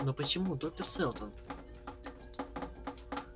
но почему доктор сэлдон